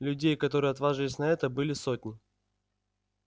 людей которые отваживались на это были сотни